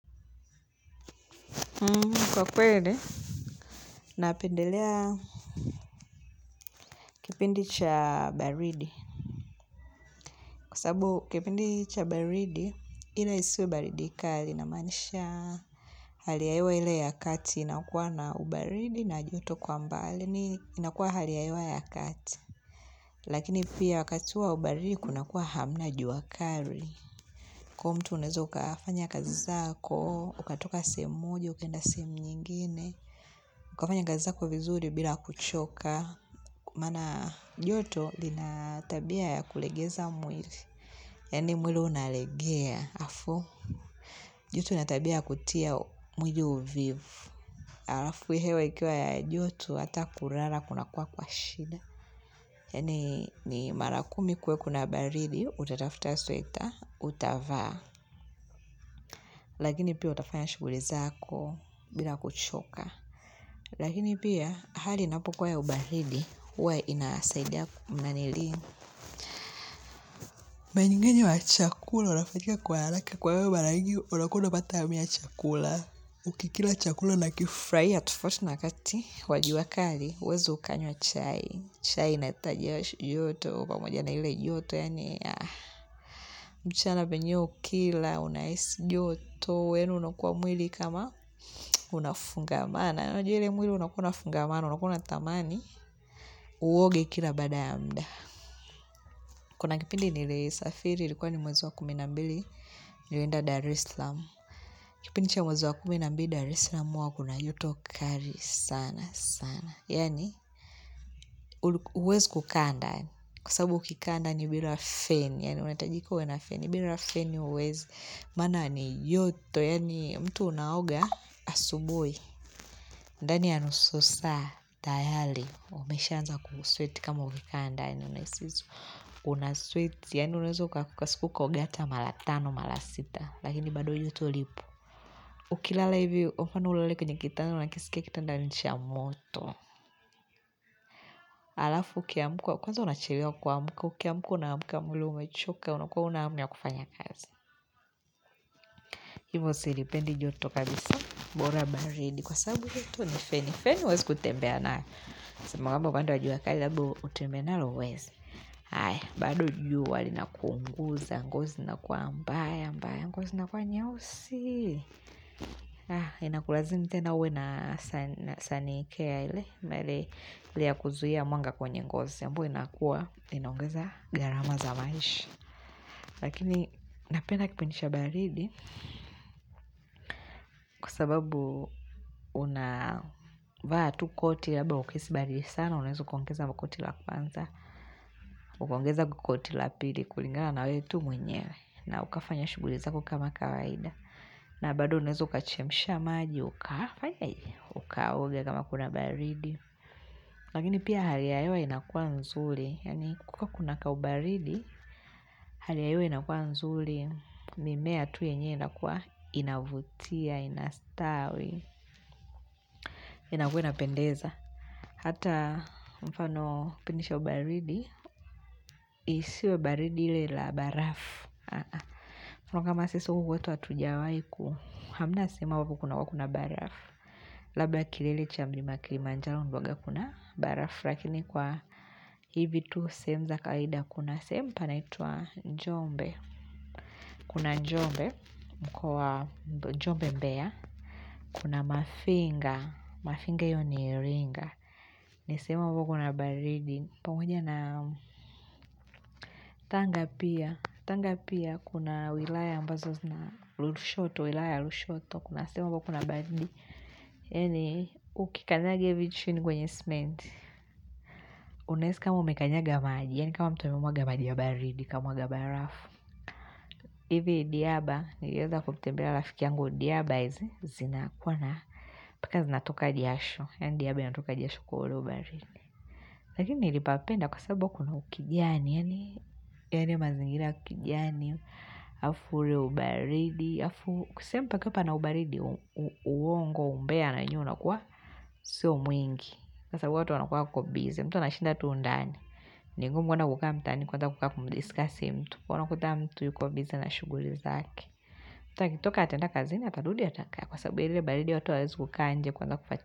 Kwa kweli, napendelea kipindi cha baridi. Kwasababu, kipindi cha baridi, ileisiwe baridi kali, inamaanisha haliyahewa ile ya kati, inakuwa na ubaridi, na juto kwa mbali, inakuwa haliyahewa ya kati. Lakini pia wakati wa ubaridi, kunakuwa hamna juakali. Kwa mtu unaweza, ukafanya kazi zako, ukatoka sehemu moja ukaenda, sehemu nyingine, ukafanya kazi zako vizuri bila kuchoka. Maana joto lina tabia ya kulegeza mwili yani mwili unalegea afu joto latabia kutia mwili uvivu Alafu hewa ikiwa ya joto hata kulala kuna kuwa kwa shida yaani ni marakumi kue kuna baridi utatafuta sweta utavaa Lakini pia utafanya shugulizako bila kuchoka Lakini pia hali inapokua ya ubaridi Uwa inasaidia mnanili Manyingenye wa chakula Unafatiha kwa haraka kwa hivyo maranyigi Una kua unakula matamu ya chakula Ukikila chakula una kifurahia wakati Wajuakali huwezi ukanywa chai chai inaleta jasho joto pamoja na ile joto mchana venyeo ukila Unaisi joto yaani unakuwa mwili kama Unafungamana Unakuna unatamani Uoge kila baada ya mda Kuna kipindi nili safiri ilikuwa ni mwezi wa kumi na mbili nilienda Dari salaam kipidi cha mwezi wa kumi na mbili Darislam huwa kuna joto kali sana sana yaani uwezi kukaa ndani kwa sababu ukikaa ndani bila feni maana ni joto yaani mtu unaoga asubuhi ndani ya nusu saa tayari umeshaanza kusweti kama umekaa ndani unasweti yaani unaweza kwa siku ukaoga ata mara tano mara sita. Lakini bado joto lipo. Ukilala hivi kwa mfano ulale kwenye kitanda. Unakisikia kitanda ni cha moto. Alafu ukiamka. Kwanza unachelewa kua amka. Ukiamka unapata mwili umechoka. Unakuwa huna hamu ya kufanya kazi. Hivo silipendi joto kabisa. Mbora baridi. Kwa sabu jotu ni feni. Feni uwezi kutembea na. Semangamba baada ya jua kali utembee nalo huwezi. Haya bado jua lina kuunguza. Ngozi inakuwa mbaya, mbaya, ngozi inakuwa nyeusi. Ha, inakulazimi tena ue na sanikea ile. Mele, ile ya kuzuhia mwanga kwenye ngozi. Sababu inakuwa, inaongeza garama za maisha. Lakini, napenda kipidi cha baridi. Kwa sababu, unavaa tu koti labda ukihisi baridi sana. Unaweza ukaongeza koti la kwanza. Ukaongeza koti la pili kulingana na wewe tu mwenyewe. Na ukafanya shuguli zako kama kawaida. Na bado unaweza ukachemsha maji, ukafaye, ukaoge kama kuna baridi. Lakini pia hali ya inakua nzuri. Kukiwa kuna ka ubaridi, hali ya inakua nzuri. Mimea tu yenyewe inakua inavutia, inastawi. Inakua inapendeza. Hata mfano kupidi cha baridi, isiwe baridi ile la barafu. Mwana kama sisu huwetu hatuja waiku, hamna sema huku kunakuwa kuna barafu. Labda kilele cha mlima wa kilimanjaro huwanga kuna barafu lakini kwa hivi tu sehemu za kawaida kuna sehemu panaitwa Njombe kuna Njombe kwa Njombe mbea Kuna Mafinga Mafinga hio Iringa ni sehemu ambao kuna baridi pamoja na Tanga pia Tanga pia kuna wilaya ambazo zina lushoto Kuna sehemu ambayo kuna baridi yeni ukikanyanga hivi chini kwenye sementi unless kama umekanyanga maji yaani kama mtu umewaga maji ya baridi kamwaga barafu hivi diaba niliweza kumtebelea rafiki yangu diaba zina kuwa na paka zinatoka jasho yaani diaba inatoka jasho kwa huo ubaridi lakini nilipapenda kwa sababu kuna ukijani yani mazingira ya kijiani halafu ule ubaridi sehemu pakapa na ubaridi uongo umbea anajua unakuwa sio mwingi sasa watu wanakuwa wako bizi mtu anashinda tu ndani ni ngumu kuona kukaa ndani kwanza kukaa kumdiskasi mtu una kuta mtu yuko bizi na shughuli zake toka ataenda kazini atarudi atakaa Kwa sababu ya ile baridi watu hawaezi kukaa nje kuanza kufuatilia.